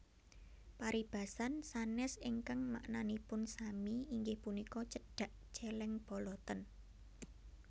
Paribasan sanès ingkang maknanipun sami inggih punika Cedhak cèlèng boloten